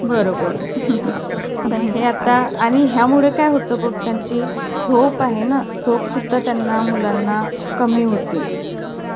आणि मग ते सगळं मत~ मातीतच खेळत रहायचो दिवसभर आम्ही. तुझं~ एकी~ रोज एका एका च बनवायचो सगळे जण. मग सगळ्यांनी एकदम बनवलं कि मज्जा नाही ना. मग ह्याच्याकडे जा. मग तुझ्याकडे आज बनवूया, मग तूज्याकडे आज